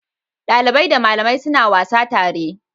Dalibai da malamai suna wasa tare.